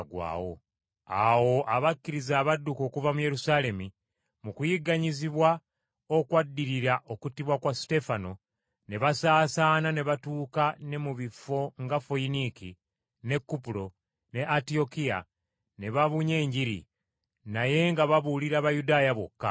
Awo abo abakkiriza abadduka okuva mu Yerusaalemi mu kuyigganyizibwa okwaddirira okuttibwa kwa Suteefano, ne basaasaana ne batuuka ne mu bifo nga Foyiniiki, ne Kupulo, ne Antiyokiya, ne babunya Enjiri, naye nga babuulira Bayudaaya bokka.